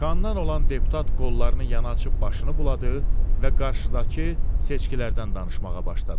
Kandan olan deputat qollarını yana açıb başını buladı və qarşıdakı seçkilərdən danışmağa başladı.